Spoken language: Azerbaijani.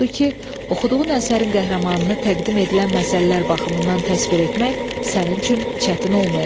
Odur ki, oxuduğun əsərin qəhrəmanını təqdim edilən məsələlər baxımından təsvir etmək sənin üçün çətin olmayacaq.